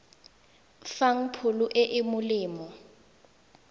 fang pholo e e molemo